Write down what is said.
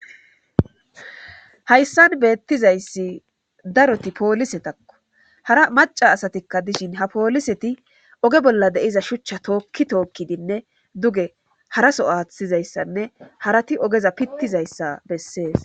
hayssan beettizayssi daroti poolisetakko hara maca asatikka dishin ha pooliseti oge bolla deiza shuchcha tookki tookkidinne duge haraso aathtizayssanne harati ogeza pittizayssa bessees